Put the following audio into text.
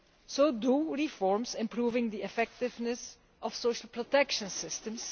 So do reforms improving the effectiveness of social protection systems.